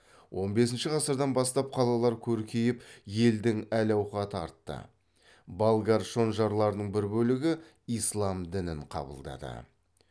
он бесінші ғасырдан бастап қалалар көркейіп елдің әл ауқаты артты болгар шонжарларының бір бөлігі ислам дінін қабылдады